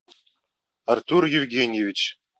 артур евгеньевич